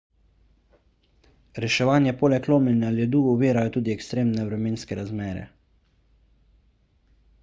reševanje poleg lomljenja ledu ovirajo tudi ekstremne vremenske razmere